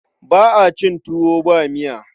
Ba a cin tuwo ba miya.